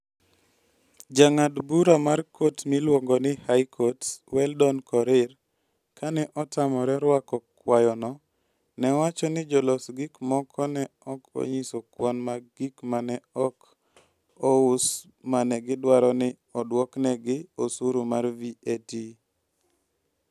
Jang'ad bura mar kot miluongo ni High Court, Weldon Korir, kane otamore rwako kwayono, ne owacho ni jolos gik moko ne ok onyiso kwan mag gik ma ne ok ous ma ne gidwaro ni oduoknegi osuru mar VAT.